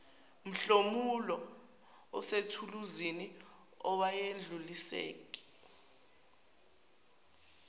mhlomulo osethuluzini awedluliseki